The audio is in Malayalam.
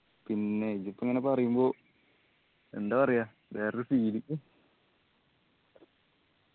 പിന്നെ ഇതിപ്പോ ഇങ്ങന പറയുമ്പോ എന്താ പറയാ വേറൊരു feel